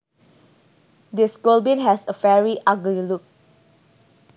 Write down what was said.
This goblin has a very ugly look